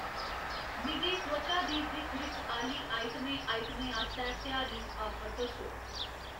मिगी त्वचा दी दिक्ख रिक्ख आह्‌ली आइटमें आइटमें आस्तै त्यहारी आफर दस्सो